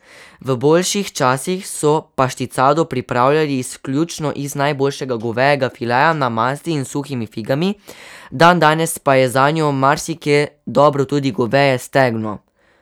V boljših časih so pašticado pripravljali izključno iz najboljšega govejega fileja, na masti in s suhimi figami, dandanes pa je zanjo marsikje dobro tudi goveje stegno.